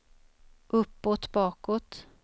uppåt bakåt